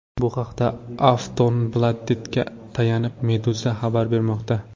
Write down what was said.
Bu haqda Aftonbladet’ga tayanib, Meduza xabar bermoqda .